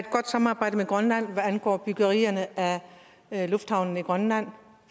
godt samarbejde med grønland hvad angår byggerierne af lufthavne i grønland